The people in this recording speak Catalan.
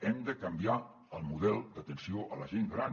hem de canviar el model d’atenció a la gent gran